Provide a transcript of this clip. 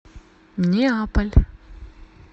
неаполь